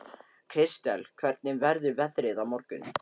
Kristel, hvernig verður veðrið á morgun?